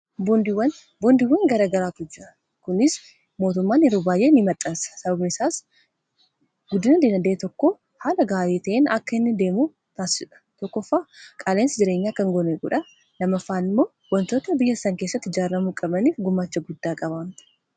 bondiwwan garagaraatu jira kunis mootummaan yeroo baay'ee ni maxxansa sababniisaas guddina dinagdee tokko haala gaarii ta'in akka hinni deemu taasidha tokko ffa qaaleensi jireenya kkan gone gudha lama faan immoo wantoota biyya issan keessatti jaarramuu qabaniif gumaacha guddaa qabaamta